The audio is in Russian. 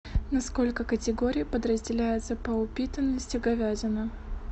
на сколько категорий подразделяется по упитанности говядина